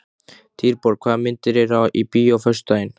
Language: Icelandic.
Dýrborg, hvaða myndir eru í bíó á föstudaginn?